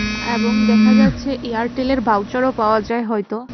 এবং দেখা যাচ্ছে এয়ারটেলের ভাউচারও পাওয়া যায় হয়তো।